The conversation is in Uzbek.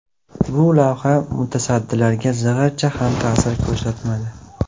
Bu lavha mutasaddilarga zig‘ircha ham ta’sir ko‘rsatmadi.